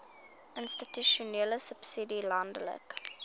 institusionele subsidie landelike